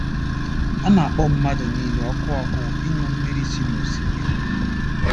A na-akpọ mmadụ niile òkù òkù ịṅụ mmiri si nosimiri.